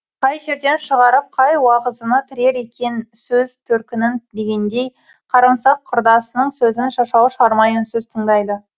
қай жерден шығарып қай уағызына тірер екен сөз төркінін дегендей қарымсақ құрдасының сөзін шашау шығармай үнсіз тыңдайды